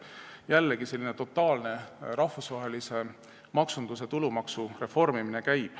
Jällegi käib totaalne rahvusvahelise maksunduse ja tulumaksu reformimine.